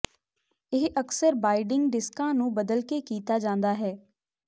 ਇਹ ਅਕਸਰ ਬਾਈਡਿੰਗ ਡਿਸਕਾਂ ਨੂੰ ਬਦਲ ਕੇ ਕੀਤਾ ਜਾਂਦਾ ਹੈ